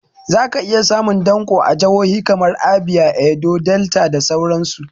Za ka iya samun danƙo a jahohi kamar Abia, Edo, Delta da sauran su